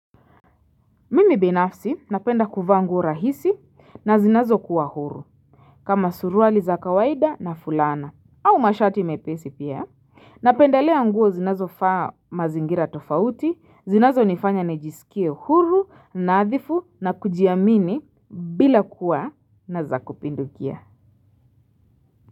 Mimi binafsi napenda kuvaa nguo rahisi na zinazo kuwa huru kama suruali za kawaida na fulana au mashati mepesi pia Napendalea nguo zinazofaa mazingira tofauti zinazonifanya nijisikie huru naadhifu na kujiamini bila kuwa na za kupindukia.